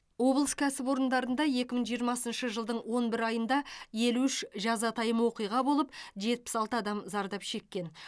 облыс кәсіпорындарында екі мың жиырмасыншы жылдың он бір айында елу үш жазатайым оқиға болып жетпіс алты адам зардап шеккен